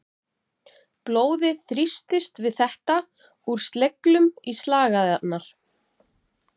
Blóðið þrýstist við þetta úr sleglum í slagæðarnar.